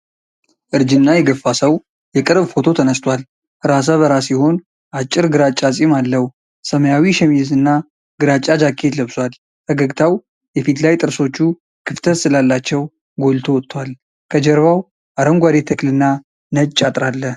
እርጅና የገፋ ሰው የቅርብ ፎቶ ተነስቷል። ራሰ በራ ሲሆን አጭር ግራጫ ፂም አለው። ሰማያዊ ሸሚዝ እና ግራጫ ጃኬት ለብሷል። ፈገግታው የፊት ላይ ጥርሶቹ ክፍተት ስላላቸው ጎልቶ ወጥቷል። ከጀርባው አረንጓዴ ተክልና ነጭ አጥር አለ።